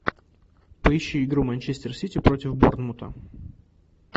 поищи игру манчестер сити против борнмута